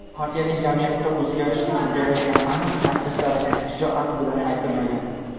partiyaning jamiyatni o‘zgartirish uchun berayotgan aniq takliflari shijoat bilan aytilmagan.